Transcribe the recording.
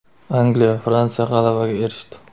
Angliya va Fransiya g‘alabaga erishdi.